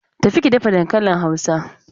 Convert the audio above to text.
Tafi ki dafa dankalin Hausa!